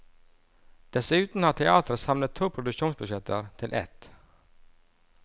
Dessuten har teatret samlet to produksjonsbudsjetter til ett.